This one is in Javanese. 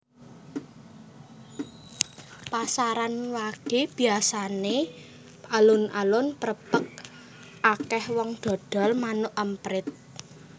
Pasaran wage biasane alun alun prepek akeh wong dodol manuk emprit